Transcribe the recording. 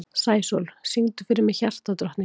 Sæsól, syngdu fyrir mig „Hjartadrottningar“.